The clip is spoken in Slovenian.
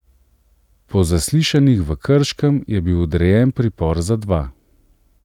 Po zaslišanjih v Krškem je bil odrejen pripor za dva.